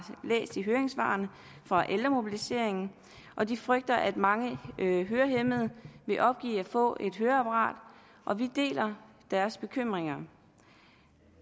læst i høringssvarene fra ældremobiliseringen og de frygter at mange hørehæmmede vil opgive at få et høreapparat og vi deler deres bekymringer